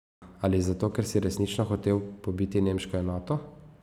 Ali zato, ker si resnično hotel pobiti nemško enoto?